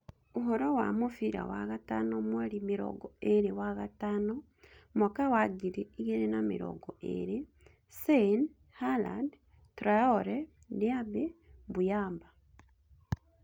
Ũhoro wa mũbira wa gatano mweri mĩrongo ĩĩrĩ wagatano mwaka wa ngiri igĩrĩ na mĩrongo ĩĩrĩ; Sane, Haaland, Traore, Diaby, Mbuyamba